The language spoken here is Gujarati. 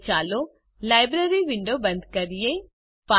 હવે ચાલો લાઇબ્રેરી વિંડો બંધ કરીએ